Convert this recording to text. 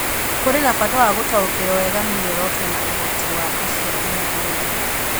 Kũrĩ na bata wa gũtaũkĩrũo wega nĩ mĩoroto na ũhoti wa aciari na arori.